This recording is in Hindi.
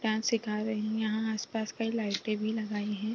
डांस सिखा रहे है यहाँ आस-पास कई लाइटे भी लगाई हैं।